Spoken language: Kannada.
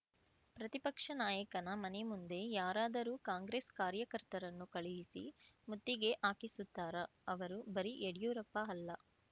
ಪ್ರತಿಪಕ್ಷ ನಾಯಕನ ಮನೆ ಮುಂದೆ ಯಾರಾದರೂ ಕಾಂಗ್ರೆಸ್‌ ಕಾರ್ಯಕರ್ತರನ್ನು ಕಳುಹಿಸಿ ಮುತ್ತಿಗೆ ಹಾಕಿಸುತ್ತಾರಾ ಅವರು ಬರೀ ಯಡ್ಯೂರಪ್ಪ ಅಲ್ಲ